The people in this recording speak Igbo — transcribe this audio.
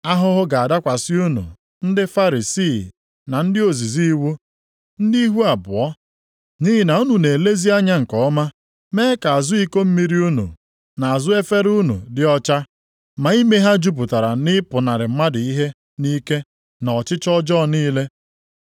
“Ahụhụ ga-adakwasị unu, ndị Farisii na ndị ozizi iwu, ndị ihu abụọ! Nʼihi na unu na-elezi anya nke ọma mee ka azụ iko mmiri unu, na azụ efere unu dị ọcha, ma ime ha jupụtara na ịpụnarị mmadụ ihe nʼike na ọchịchọ ọjọọ niile. + 23:25 \+xt Mak 2:1\+xt*